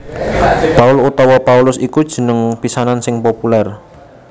Paul utawa Paulus iku jeneng pisanan sing populèr